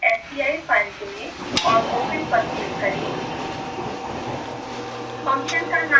proportionalsci file चुनें और open पर क्लिक करें